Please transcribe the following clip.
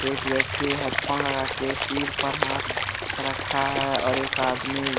एक व्यक्ति headphone लगा के सिर पर हाथ रखा है और एक आदमी